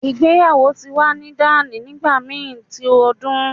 Igbeyawo ti wa ni dani nigbamii ti odun